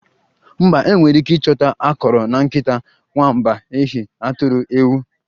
Mba, enwere ike ịchọta akọrọ na nkịta, nwamba, ehi, atụrụ, ewu